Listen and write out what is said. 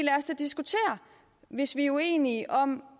hvis vi er uenige om